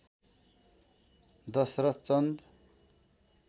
Dasharath Chand